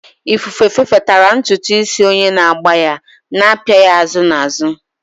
Ifufe fefetara ntutu isi onye na-agba ya, na-apịa ya azụ na azụ.